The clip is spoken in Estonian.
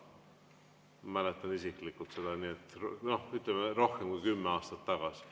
Ma mäletan isiklikult seda, nii et rohkem kui kümme aastat tagasi.